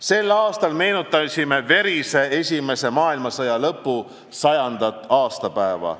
Sel aastal meenutasime verise esimese maailmasõja lõpu 100. aastapäeva.